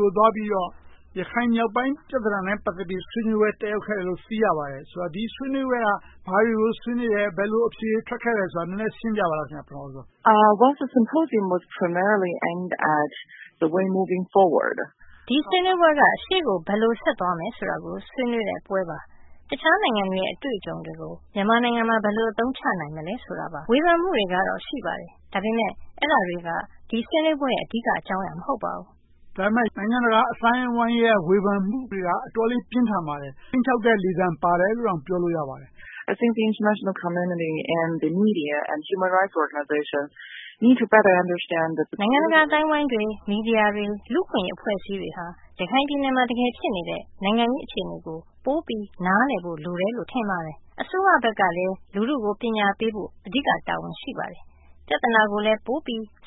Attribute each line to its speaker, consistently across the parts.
Speaker 1: ကို သွားပြီးတော့ ရခိုင်မြောက်ပိုင်း ပြဿနာနဲ့ ပတ်သက်ပြီး ဆွေးနွေးပွဲ တက်ရောက်ခဲ့တယ်လို့ သိရပါတယ်။ ဆိုတော့ ဒီဆွေးနွေးပွဲက ဘာတွေကို ဆွေးနွေးလဲ။ ဘယ်လို အဖြေတွေ ထွက်ခဲ့သလဲဆိုတာကို နည်းနည်းရှင်းပြပါ။
Speaker 2: ဒီဆွေးနွေးပွဲက ရှေ့ကို ဘယ်လိုဆက်သွားမယ်ဆိုတာကို ဆွေးနွေးတဲ့ပွဲပါ။ တခြားနိုင်ငံတွေရဲ့ အတွေ့အကြုံတွေကို မြန်မာနိုင်ငံမှာ ဘယ်လို အသုံးချနိုင်မလဲဆိုတာပါ။ ဝေဖန်မှုတွေကတော့ ရှိပါတယ်။ ဒါပေမဲ့ အဲဒါတွေက ဒီဆွေးနွေးပွဲရဲ့ အဓိက အကြောင်းအရာ မဟုတ်ပါဘူး။
Speaker 1: ဒါပေမဲ့ နိုင်ငံတကာ အသိုင်းအဝိုင်းရဲ့ ဝေဖန်မှုတွေက အတော်လေး ပြင်းထန်ပါတယ်။ ခြိမ်းခြောက်တဲ့လေသံပါတယ်လို့တောင် ပြောလို့ရပါတယ်။
Speaker 2: နိုင်ငံတကာ အသိုင်းအဝိုင်းတွေ၊ မီဒီယာတွေ၊ လူ့အခွင့်အရေး အဖွဲ့အစည်းတွေဟာ ရခိုင်ပြည်နယ်မှာ တကယ်ဖြစ်နေတဲ့ နိုင်ငံရေးအခြေအနေကို ပိုပြီးနားလည်ဖို့ လိုတယ်လို့ ထင်ပါတယ်။ အစိုးရဘက်ကလည်း လူထုကို ပညာပေးဖို့ အဓိက တာဝန်ရှိပါတယ်။ ပြဿနာကိုလည်း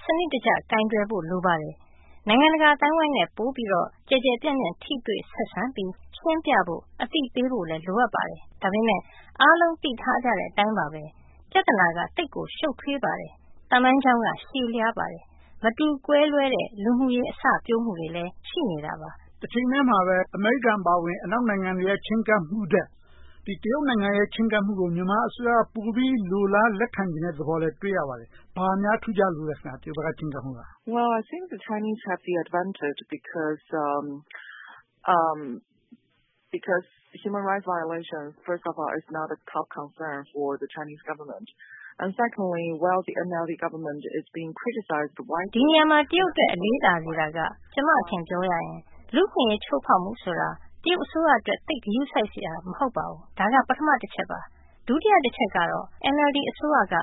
Speaker 2: စနစ်တကျ ပိုပြီးကိုင်တွယ်ဖို့ လိုပါတယ်။ နိုင်ငံတကာအသိုင်းအဝိုင်းနဲ့ ပိုပြီးတော့ ကျယ်ကျယ်ပြန့်ပြန့် ထိတွေ့ဆက်ဆံပြီး ရှင်းပြဖို့၊ အသိပေးဖို့လည်း လိုအပ်ပါတယ်။ ဒါပေမဲ့ အားလုံးသိထားကြတဲ့အတိုင်းပါပဲ ပြဿနာက သိပ်ကိုရှု့ပ်ထွေးပါတယ်။ သမိုင်းကြောင်းက ရှည်လျားပါတယ်။ မတူကွဲပြားတဲ့ လူမှုရေးအစပျိုးမှုတွေလည်း ရှိနေတာပါ။
Speaker 1: တချိန်တည်းမှာပဲ အမေရိကန်အပါအဝင် အနောက်နိုင်ငံတွေရဲ့ ချည်းကပ်မှုထက် တရုတ်နိုင်ငံရဲ့ ချည်းကပ်မှုကို မြန်မာအစိုးရက ပိုပြီးလိုလားလက်ခံမယ်ဆိုတာကိုလည်း တွေ့ရပါတယ်။ ဘာများ ထူးခြားလို့လဲ။
Speaker 2: ဒီနေရာမှာ တရုတ်အတွက် အလေးသာစေတာက ကျမ့အထင် ပြောရရင် လူ့အခွင့်အရေး ချိုးဖောက်မှုဆိုတာ တရုတ်အစိုးရအတွက် သိပ်ဂရုစိုက်စရာ မဟုတ်ပါဘူး။ ဒါက ပထမတချက်ပါ။ ဒုတိယတချက်ကတော့ NLD အစိုးရက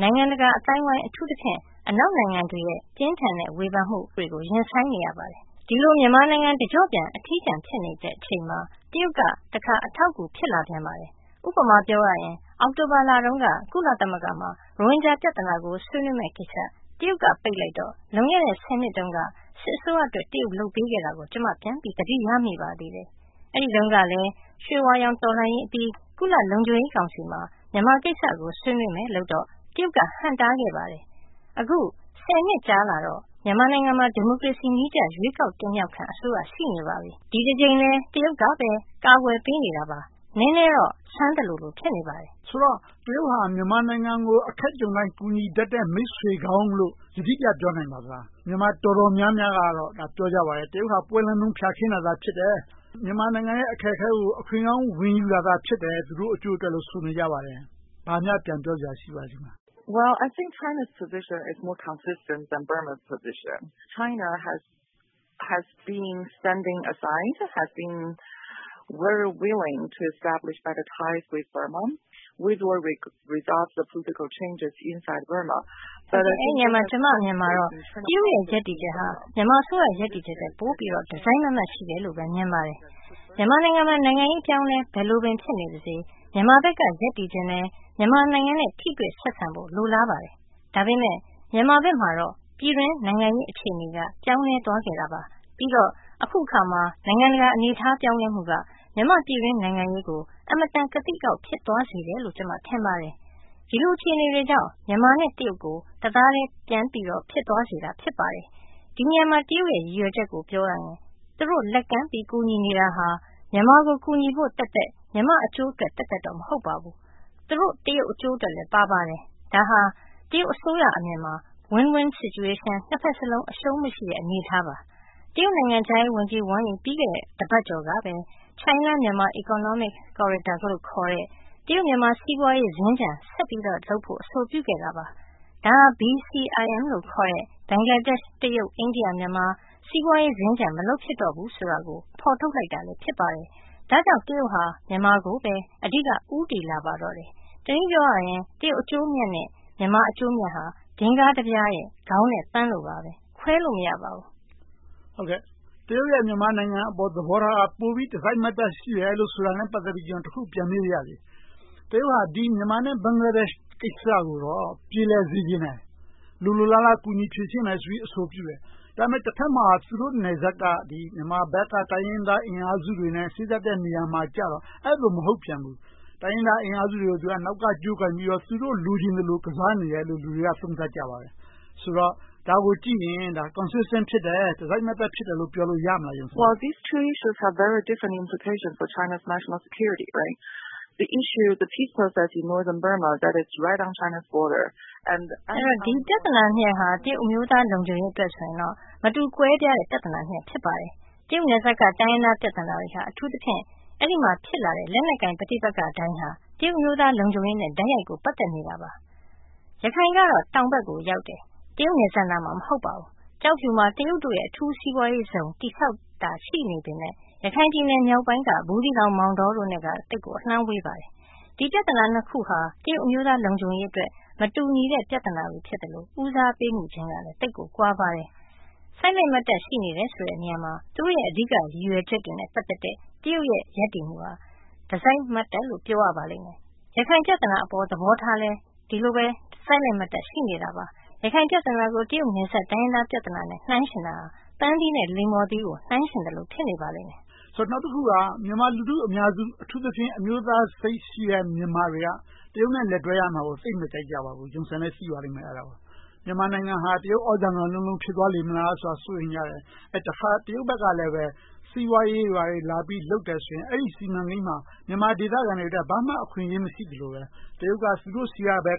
Speaker 2: နိုင်ငံတကာအသိုင်းအဝိုင်း အထူးသဖြင့် အနောက်နိုင်ငံတွေရဲ့ ပြင်းထန်တဲ့ ဝေဖန်မှုတွေကို ရင်ဆိုင်နေရပါတယ်။ ဒီလို မြန်မာနိုင်ငံ တကျော့ပြန် အထီးကျန် ဖြစ်နေတဲ့အချိန်မှာ တရုတ်က တခါ အထောက်အကူ ဖြစ်လာပြန်ပါတယ်။ ဥပမာ ပြောရရင် အောက်တိုဘာလတုန်းက ကုလသမဂ္ဂမှာ ရိုဟင်ဂျာပြဿနာကို ဆွေးနွေးမယ့်ကိစ္စ တရုတ်က ပိတ်လိုက်တော့ လွန်ခဲ့တဲ့ ဆယ်နှစ်တုန်းက စစ်အစိုးရအတွက် တရုတ် လုပ်ပေးခဲ့တာကို ကျမ ပြန်ပြီးသတိရမိပါသေးတယ်။ အဲဒီတုန်းကလည်း ရွှေဝါရောင် တော်လှန်ရေးအပြီး ကုလလုံခြုံရေးကောင်စီမှာ မြန်မာကိစ္စကို ဆွေးနွေးမယ်ဆိုတော့ တရုတ်က ဟန့်တားခဲ့ပါတယ်။ အခု ဆယ်နှစ်ကြာလာတော့ မြန်မာနိုင်ငံမှာ ဒီမိုကရေစီနည်းကျ ရွေးကောက်တင်မြှောက်ခံ အစိုးရ ရှိနေပါပြီ။ ဒီတကြိမ်လည်း တရုတ်ကပဲ ကာကွယ်ပေးနေတာပါ။ နည်းနည်းတော့ ဆန်းသလို ဖြစ်နေပါတယ်။
Speaker 1: ဆိုတော့ တရုတ်က မြန်မာနိုင်ငံကို အခက်ကြုံတိုင်း ကူညီတတ်တဲ့ မိတ်ဆွေကောင်းလို့ ယတိပြတ် ပြောနိုင်မလား။ မြန်မာ တော်တော်များကတော့ ပြောကြပါတယ်… တရုတ်က ပွဲလန့်တုန်း ဖျာခင်းတာ ဖြစ်တယ်။ မြန်မာနိုင်ငံရဲ့ အခက်အခဲကို အခွင့်ကောင်း ဝင်ယူတာ ဖြစ်တယ်။ သူတို့အကျိုးအတွက်လို့ ဆိုပါတယ်။ ဘာများပြန်ပြောစရာ ရှိပါလဲ။
Speaker 2: အဲဒီနေရာမှာ ကျမရဲ့အမြင်ကတော့ တရုတ်ရဲ့ ရပ်တည်ချက်ဟာ မြန်မာအစိုးရ ရပ်တည်ချက်ထက် ပိုပြီးတော့ တစိုက်မတ်မတ် ရှိတယ်လို့ မြင်ပါတယ်။ မြန်မာနိုင်ငံမှာ နိုင်ငံရေး အပြောင်းအလဲ ဘယ်လိုပင် ဖြစ်နေပါစေ မြန်မာဘက်က ရပ်တည်ချင်တယ်။ မြန်မာနိုင်ငံနဲ့ ထိတွေ့ဆက်ဆံမှု လိုလားပါတယ်။ ဒါပေမဲ့ မြန်မာဘက်မှာတော့ ပြည်တွင်းနိုင်ငံရေး အခြေအနေက ပြောင်းလဲသွားနေတာပါ။ ပြီးတော့ အခုအခါမှာ နိုင်ငံတကာ အနေအထား ပြောင်းလဲမှုက မြန်မာ့ပြည်တွင်း နိုင်ငံရေးကို အင်မတန် ကသိကအောက် ဖြစ်သွားစေတယ်လို့ ကျမ ထင်ပါတယ်။ ဒီလို အခြေအနေတွေကြောင့် မြန်မာနဲ့ တရုတ် တသားတည်း ပြန်ပြီးတော့ ဖြစ်သွားစေတာ ဖြစ်ပါတယ်။ ဒီနေရာမှာ တရုတ်ရဲ့ ရည်ရွယ်ချက်ကို ပြောရရင် သူတို့ လက်ကမ်းပြီး ကူညီနေတာဟာ မြန်မာကို ကူညီဖို့သက်သက်၊ မြန်မာ့အကျိုးအတွက်သက်သက်တော့ မဟုတ်ပါဘူး။ သူတို့တရုတ်အကျိုးအတွက်လည်း ပါပါတယ်။ ဒါဟာ တရုတ်အစိုးရအမြင်မှာ Win-Win Situation နှစ်ဘက်စလုံး အရှုံးမရှိတဲ့ အနေအထားပါ။ တရုတ်နိုင်ငံခြားရေးဝန်ကြီး ဝမ်ယီ ပြီးခဲ့တဲ့ တပတ်ကျော်ကပဲ China-Myanmar Economic Corridor လို့ခေါ်တဲ့ တရုတ်-မြန်မာ စီးပွားရေးစင်္ကြန် ဆက်ပြီးတော့လုပ်ဖို့ အဆိုပြုခဲ့တာပါ။ ဒါဟာ BCIM လို့ခေါ်တဲ့ ဘင်္ဂလားဒေ့ရှ်၊ တရုတ်၊ အိန္ဒိယ၊ မြန်မာ စီးပွားရေးစင်္ကြန် မလုပ်ဖြစ်တော့ဘူးဆိုတော့ကို ဖော်ထုတ်လိုက်တာ ဖြစ်ပါတယ်။ ဒါကြောင့် တရုတ်က မြန်မာကိုပဲ အဓိက ဦးတည်လာပါတော့တယ်။ တနည်းအားဖြင့် တရုတ် အကျိုးအမြတ်နဲ့ မြန်မာအကျိုးအမြတ်ဟာ ဒင်္ဂါးတပြားရဲ့ ခေါင်းနဲ့ပန်းလို ခွဲခြားလို့ မရပါဘူး။
Speaker 1: တရုတ်ရဲ့ မြန်မာနိုင်ငံအပေါ် သဘောထားက ပိုပြီးတစိုက်မတ်မတ် ရှိတယ်လို့ ဆိုတာနဲ့ ပတ်သက်ပြီးတော့ ကျနော် တခု ပြန်မေးပါရစေ။ တရုတ်က မြန်မာနဲ့ ဘင်္ဂလားဒေ့ရှ် ကိစ္စကို ပြေလည်စေချင်တယ်။ လိုလိုလားလား ကူညီဖြေရှင်းမယ်ဆိုပြီးတော့ အဆိုပြုတယ်။ ဒါပေမဲ့ တဘက်မှာ သူတို့နယ်စပ်မှာ မြန်မာဘက်က တိုင်းရင်းသားအင်အားစုတွေနဲ့ စေ့စပ်တဲ့နေရာမှာကြတော့ အဲဒီလို မဟုတ်ပြန်ဘူး။ တိုင်းရင်းသားအင်အားစုတွေကို နောက်က ကြိုးကိုင်ပြီးတော့ သူတို့ လိုချင်သလို ကစားနေတယ်လို့ လူတွေက သုံးသပ်ကြပါတယ်။ ဆိုတော့ ဒါကိုကြည့်ရင် Consistent ဖြစ်တယ် တစိုက်မတ်တပ် ဖြစ်တယ်လို့ ပြောလို့ရမလား။
Speaker 2: ဒီပြဿနာနှစ်ရပ်ဟာ တရုတ်အမျိုးသား လုံခြုံရေးအတွက်ဆိုရင်တော့ မတူကွဲပြားတဲ့ ပြဿနာနှစ်ရပ် ဖြစ်ပါတယ်။ တရုတ်နယ်စပ်က တိုင်းရင်းသားပြဿနာတွေဟာ အထူးသဖြင့် အဲဒီမှာ ဖြစ်လာတဲ့ လက်နက်ကိုင် ပဋိပက္ခတိုင်းဟာ တရုတ်အမျိုးသား လုံခြုံရေးနဲ့ တိုက်ရိုက်ပတ်သက်နေပါတယ်။ ရခိုင်ကတော့ တောင်ဘက်ကိုရောက်တယ်။ တရုတ်နယ်စပ်နားမှာ မဟုတ်ပါဘူး။ ကျောက်ဖြူမှာ တရုတ်တွေ အထူးစီးပွားရေးဇုန် တည်ဆောက်နေတာ ရှိနေပေမယ့် ရခိုင်ပြည်နယ်မြောက်ပိုင်းက ဘူးသီးတောင်၊ မောင်တောတို့နဲ့တော့ သိပ်ကိုအလှမ်းဝေးပါတယ်။ ဒီပြဿနာနှစ်ခုဟာ တရုတ်အမျိုးသား လုံခြုံရေးအတွက် မတူညီတဲ့ ပြဿနာတွေဖြစ်လို့ ဦးစားပေးမှုခြင်းကလည်း သိပ်ကိုကွာပါတယ်။ စိုက်လက်မတ်တပ် ရှိနေတယ်ဆိုတဲ့နေရာမှာ သူတို့ရဲ့ အဓိကရည်ရွယ်ချက်တွေနဲ့ ပတ်သက်တဲ့ တရုတ်ရဲ့ ရည်ရွယ်ချက်က တစိုက်မတ်တပ်လို့ ပြောရပါလိမ့်မယ်။ ရခိုင်ပြဿနာပေါ် သဘောထားလည်း ဒီလိုပဲ စိုက်လက်မတ်တပ် ရှိနေတာပါ။ ရခိုင်ပြဿနာကို တရုတ်နယ်စပ် တိုင်းရင်းသားပြဿနာနဲ့ နှိုင်းယှဉ်တာ ပန်းသီးနဲ့ လိမ္မော်သီးတို့ နှိုင်းယှဉ်သလို ဖြစ်နေပါတယ်။
Speaker 1: နောက်တခုက မြန်မာလူထုအများစု အထူးသဖြင့် အမျိုးသားစိတ်ရှိတဲ့ မြန်မာတွေဟာ တရုတ်နဲ့ လက်တွဲရမှာကို သိပ်မကြိုက်ကြဘူး။ မြန်မာနိုင်ငံဟာ တရုတ် သြဇာခံလုံးလုံး ဖြစ်သွားလေမလားဆိုတာကို စိုးရိမ်ကြတယ်။ တခါ တရုတ်ဘက်ကလည်း စီးပွားရေးတွေ ဘာတွေ လာလုပ်တယ်ဆိုရင် အဲဒီ စီးပွားရေးစီမံကိန်းတွေမှာ မြန်မာဒေသခံတွေအတွက် ဘာမှ အခွင့်အရေးမရှိသလိုပဲ တရုတ်က သူတို့ဆီကပဲ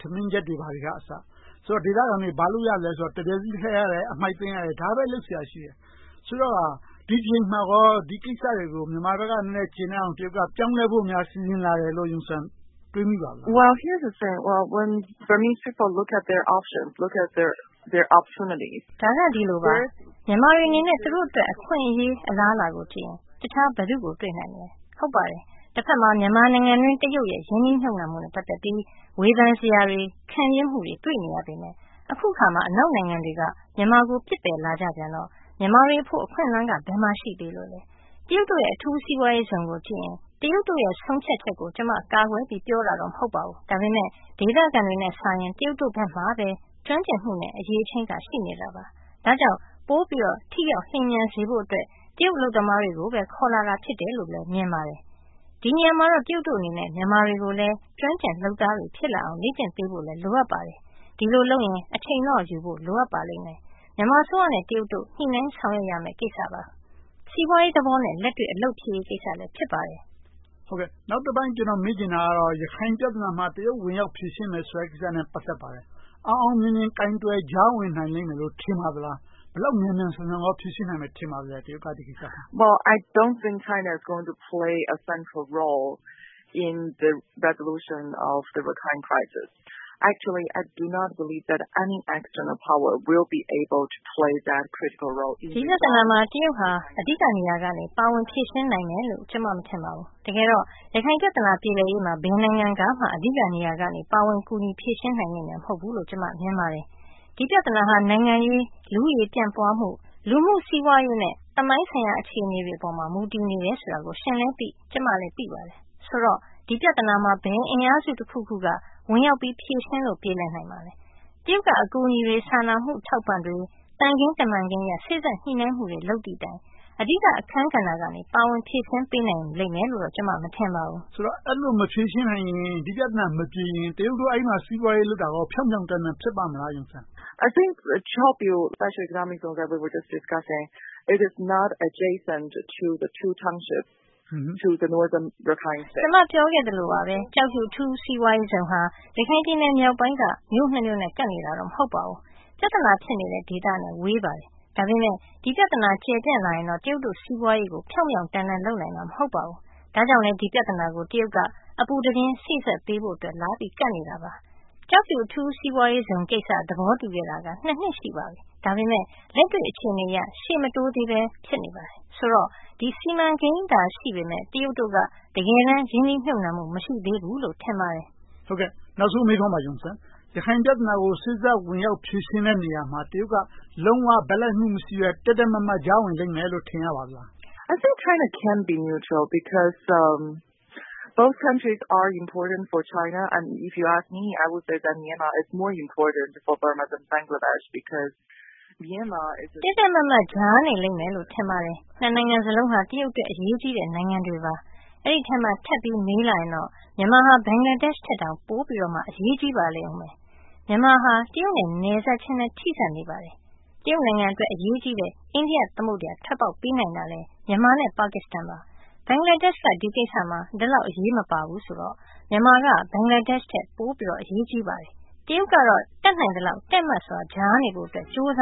Speaker 1: ထမင်းချက်တွေ ဘာတွေကအစ ခေါ်လာတယ်။ ဆိုတော့ ဒေသခံတွေ ဘာလုပ်ရသလဲဆိုတော့ တံမြက်စည်းလှဲရတယ်။ အမှိုက်သိမ်းရတယ်။ ဒါတွေပဲ လုပ်စရာရှိတယ်။ ဆိုတော့ ဒီတကြိမ်မှာကော ဒီကိစ္စတွေကို မြန်မာဘက်က ကျေနပ်အောင် တရုတ်ဘက်က ပြောင်းလဲလာဖို့ စီစဉ်တယ်လို့ Yun Sun တွေးမိပါလား။
Speaker 2: ဒါက ဒီလိုရှိပါတယ်။ မြန်မာတွေအနေနဲ့ သူတို့အတွက် အခွင့်အရေး၊ အလားအလာကိုကြည့်ရင် တခြားဘယ်သူကို တွေ့နိုင်မလဲ။ တဘက်မှာ မြန်မာနိုင်ငံအတွင်း တရုတ်ရဲ့ ရင်းနှီးမြုပ်နံှမှုနဲ့ ပတ်သက်ပြီး ဝေဖန်စရာတွေ၊ ခံပြင်းမှုတွေ တွေ့နေရပေမယ့် အခုအခါမှာ အနောက်နိုင်ငံတွေက မြန်မာကို ပစ်ပယ်လာကြပြန်တော့ မြန်မာတွေအဖို့ အခွင့်အလမ်းက ဘယ်မှာရှိသေးလို့လဲ။ တရုတ်တို့ရဲ့ အထူးစီးပွားရေးဇုန်ကိုကြည့်ရင် တရုတ်တို့ရဲ့ ဆုံးဖြတ်ချက်ကို ကျမ ကာကွယ်ပြီးတော့ ပြောတာမဟုတ်ပါဘူး။ ဒါပေမဲ့ ဒေသခံတွေနဲ့စာရင် တရုတ်တို့ဘက်မှာပဲ ကျွမ်းကျင်မှုနဲ့ အရည်အချင်းက ရှိနေတာပါ။ ဒါကြောင့် ပိုပြီးတော့ ထိရောက်လျင်မြန်စေဖို့အတွက် တရုတ်အလုပ်သမားတွေကိုပဲ ခေါ်လာတာဖြစ်တယ်လို့ပဲ မြင်ပါတယ်။ ဒီနေရာမှာတော့ တရုတ်တို့အနေနဲ့ မြန်မာတွေကိုလည်း ကျွမ်းကျင်လုပ်သားတွေ ဖြစ်လာအောင် လေ့ကျင့်ပေးဖို့ လိုအပ်ပါတယ်။ ဒီလိုလုပ်ရင် အချိန်တော့ယူဖို့ လိုအပ်ပါတယ်။ မြန်မာအစိုးရနဲ့ တရုတ်တို့ ညှိနှိုင်းဆောင်ရွက်ရမယ့် ကိစ္စပါ။ စီးပွားရေးသဘောနဲ့ လက်တွေ့အလုပ်ဖြစ်ရေးကိစ္စလည်း ဖြစ်ပါတယ်။
Speaker 1: နောက်တပိုင်း ကျနော် မေးချင်တာကတော့ ရခိုင်ပြဿနာမှာ တရုတ် ဝင်ရောက်ဖြေရှင်းမယ်ဆိုတဲ့ ကိစ္စနဲ့ ပတ်သက်ပါတယ်။ အောင်အောင်မြင်မြင် ကိုင်တွယ်ကြားဝင်နိုင်လိမ့်မယ်လို့ ထင်ပါသလား။ ဒီကိစ္စကို ဘယ်လောက် မြန်မြန်ဆန်ဆန် ဖြေရှင်းနိုင်မယ်လို့ ထင်ပါသလဲ။
Speaker 2: ဒီပြဿနာမှာ တရုတ်ဟာ အဓိက နေရာကနေ ပါဝင်ဖြေရှင်းနိုင်မယ်လို့ ကျမ မထင်ပါဘူး။ တကယ်တော့ ရခိုင်ပြဿနာ ပြေလည်ရေးမှာ ဘယ်နိုင်ငံကမှ အဓိကနေရာကနေ ကူညီဖြေရှင်းနိုင်လိမ့်မယ် မဟုတ်ဘူးလို့ ကျမ မြင်ပါတယ်။ ဒီပြဿနာဟာ နိုင်ငံရေး၊ လူဦးရေပြန့်ပွားမှု၊ လူမှု့စီးပွားရေးနဲ့ သမိုင်းဆိုင်ရာ အခြေအနေတွေပေါ်မှာ မူတည်နေတယ်ဆိုတာကို ရှင်လည်းသိ၊ ကျမလည်း သိပါတယ်။ ဆိုတော့ ဒီပြဿနာမှာ ဘယ်အင်အားစုတခုခုကမှ ဝင်ရောက်ပြီး ဖြေရှင်းလို့ ပြေလည်နိုင်မလဲ။ တရုတ်က အကူအညီတွေ၊ စာနာမှုအထောက်အပံ့တွေ၊ သံခင်းတမန်ခင်းအရ စေ့စပ်ညှိနှိုင်းမှုတွေ လုပ်သည်တိုင် အဓိက အခန်းကဏ္ဍကနေ ပါဝင်ဖြေရှင်းပေးနိုင်လိမ့်မယ်လို့ ကျမ မထင်ပါဘူး။
Speaker 1: ဆိုတော့ အဲဒီလို မဖြေရှင်းနိုင်ရင် ဒီပြဿနာမပြေရင် တရုတ်တို့က အဲဒီမှာ ဒီးပွားရေးလုပ်တာကို ဖြောင့်ဖြောင့်တန်းတန်း ဖြစ်ပါ့မလား။
Speaker 2: ကျမ ပြောခဲ့သလိုပါပဲ ကျောက်ဖြူ အထူးစီးပွားရေးဇုန်ဟာ ရခိုင်ပြည်နယ်မြောက်ပိုင်းက မြို့နှစ်မြို့နဲ့ ကပ်နေတာ မဟုတ်ပါဘူး။ ပြဿနာ ဖြစ်နေတဲ့ ဒေသနဲ့ ဝေးပါတယ်။ ဒါပေမဲ့ ဒီပြဿနာ ကျယ်ပြန့်လာရင်တော့ တရုတ်တို့ စီးပွားရေးကို ဖြောင့်ဖြောင့်တန်းတန်း လုပ်နိုင်မှာ မဟုတ်ပါဘူး။ ဒါကြောင့်လဲ ဒီပြဿနာကို တရုတ်က အပူတပြင်း စေ့စပ်ပေးဖို့အတွက် လာရောက်ပြီး ကပ်နေတာပါ။ ကျောက်ဖြူ အထူးစီးပွားရေးဇုန်ကိစ္စ သဘောတူခဲ့တာ နှစ် ရှိပါပြီ။ ဒါပေမဲ့ လက်တွေ့အခြေအနေအရ ရှေ့မတိုးသေးဘဲ ဖြစ်နေပါတယ်။ ဆိုတော့ ဒီ စီမံကိန်းသာ ရှိနေပေမယ့် တရုတ်တို့က တကယ်တမ်း ရင်းနှီးမြုပ်နံှမှု မရှိသေးဘူးလို့ ထင်ပါတယ်။
Speaker 1: နောက်ဆုံးမေးခွန်းပါ - ရခိုင်ပြဿနာကို စေ့စပ်ဖြေရှင်းတဲ့ နေရာမှာ တရုတ်က လုံးဝဘက်လိုက်မှု မရှိဘူး။ တည့်တည့်မတ်မတ် ကြားဝင်လိမ့်မယ်လို့ ထင်ရပါသလား။
Speaker 2: တည့်တည့်မတ်မတ် ကြားနေလိမ့်မယ်လို့ ထင်ပါတယ်။ နိုင်ငံစလုံးက တရုတ်အတွက် အရေးကြီးတဲ့ နိုင်ငံတွေပါ။ အဲဒီအထဲမှာ ထပ်ပြီးတော့ မေးလာရင်တော့ မြန်မာက ဘင်္ဂလားဒေ့ရှ်ထက် ပိုပြီးတော့ အရေးကြီးပါတယ်။ မြန်မာဟာ တရုတ်နဲ့လည်း နယ်စပ်ချင်းလည်း ထိဆက်နေပါတယ်။ တရုတ်နိုင်ငံအတွက် အရေးကြီးတဲ့ အိန္ဒိယသမုဒ္ဒရာကို ထွက်ပေါက်ပေးနိုင်တာလည်း မြန်မာ နဲ့ ပါကစ္စတန်ပါ။ ဘင်္ဂလားဒေ့ရှ်က ဒီကိစ္စမှာ ဒီလောက်အထိ အရေးမပါဘူးဆိုတော့ မြန်မာက ဘင်္ဂလားဒေ့ရှ်ထက် ပိုပြီးတော့ အရေးကြီးပါတယ်။ တရုတ်ကတော့ တတ်နိုင်သလောက် တည့်မတ်စွာ ကြားနေဖို့အတွက် ကြိုးစ